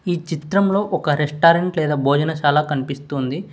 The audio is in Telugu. ఈ చిత్రంలో ఒక రెస్టారెంట్ లేదా భోజన చాలా కనిపిస్తోంది.